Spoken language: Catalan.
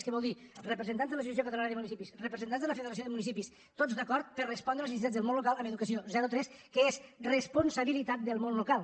què vol dir representants de l’associació catalana de municipis representants de la federació de municipis tots d’acord per a respondre les necessitats del món local en educació zero tres que és responsabilitat del món local